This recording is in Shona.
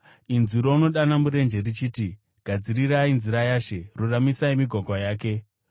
“inzwi rounodana murenje, richiti, ‘Gadzirai nzira yaShe, ruramisai migwagwa yake.’ ”